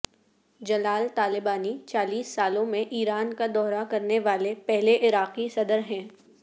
جلال Talabani چالیس سالوں میں ایران کا دورہ کرنے والے پہلے عراقی صدر ہیں